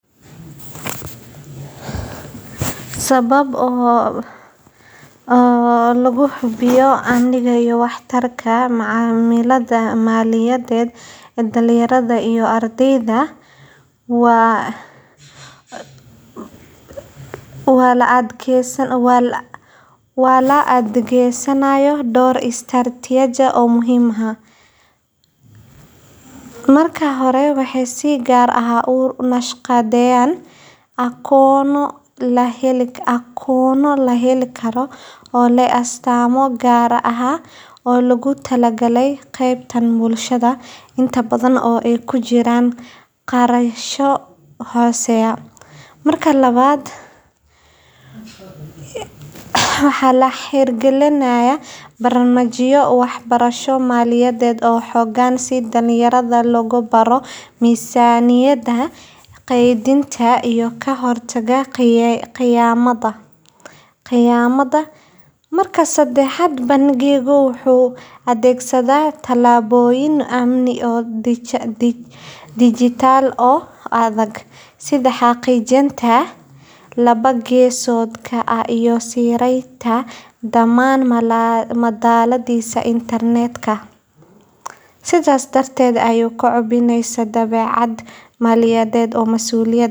Saamo gaaar ah oo lagu tala gaalay geybo ka mid ah waa mid ka mid ah bangiyada ugu waaweyn uguna saameynta badan Bariga iyo Bartamaha Afrika, gaar ahaan dalka Kenya oo ah xaruntiisa ugu weyn. Waxaa la aasaasay kii isagoo markii hore ahaa hay’ad maalgelin oo yaryar , balse sanadihii dambe wuxuu si degdeg ah u kobcay una beddelay bangi buuxa oo bixiya adeegyo kala duwan oo maaliyadeed.